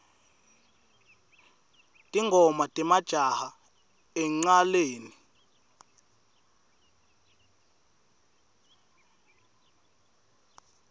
tingoma temajaha encnaleni